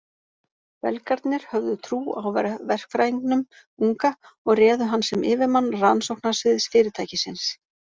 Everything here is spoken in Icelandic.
Belgarnir höfðu trú á verkfræðingnum unga og réðu hann sem yfirmann rannsóknarsviðs fyrirtækisins.